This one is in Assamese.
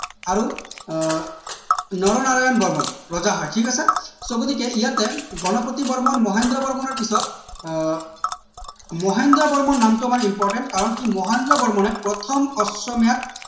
আৰু আহ নৰনাৰায়ণ বৰ্মন ৰজা হয় ঠিক আছে so গতিকে ইয়াতে গণপতি বৰ্মন মহেন্দ্ৰ বৰ্মনৰ পিছত আহ মহেন্দ্ৰ বৰ্মন নামটো আমাৰ important কাৰণ কি মহেন্দ্ৰ বৰ্মনে প্ৰথম অশ্বমেধ